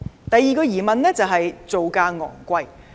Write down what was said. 第二個疑問是造價昂貴。